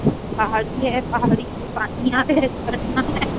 पहाड़ी है पहाड़ी से पानी आ रहा है झरना है।